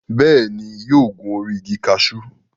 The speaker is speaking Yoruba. Bẹ́ẹ̀ ni, yóò gun orí igi kaṣú.